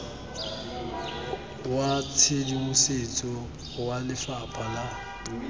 wa tshedimosetso wa lefapha la